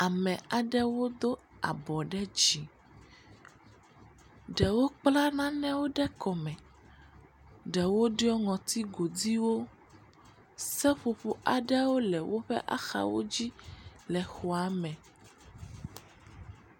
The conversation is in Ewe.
Ame aɖewo do abɔ ɖe dzi. Ɖewo kpla nanewo ɖe kɔ me. Ɖewo ɖɔe ŋɔti godiwo. Seƒoƒo aɖewo le woƒe axawo dzi le xɔa me.